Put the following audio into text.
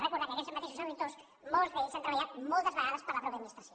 recordar que aquests mateixos auditors molts d’ells han treballat moltes vegades per a la mateixa administració